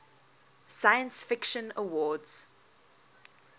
science fiction awards